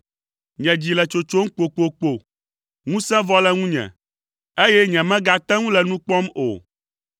Nye dzi le tsotsom kpokpokpo, ŋusẽ vɔ le ŋunye, eye nyemegate ŋu le nu kpɔm o.